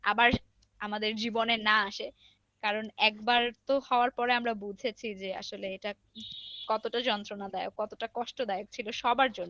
আবার আমাদের জীবনে না আসে কারণ একবার হওয়ার তো পর তো আমরা বুঝেছি যে আসলে এটা কতটা যন্ত্রনা দায়ক কতটা কষ্ট দায়ক ছিল সবার জন্য।